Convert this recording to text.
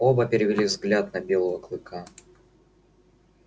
оба перевели взгляд на белого клыка